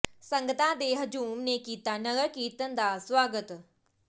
ਸੰਗਤਾਂ ਦੇ ਹਜੂਮ ਨੇ ਕੀਤਾ ਨਗਰ ਕੀਰਤਨ ਦਾ ਸਵਾਗਤ